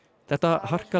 þetta harkalega